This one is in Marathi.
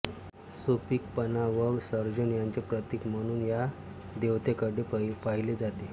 सुपीकपणा व सर्जन यांचे प्रतीक म्हणून या देवतेकडे पाहिले जाते